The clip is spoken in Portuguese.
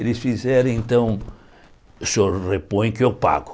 Eles fizeram então, o senhor repõe que eu pago.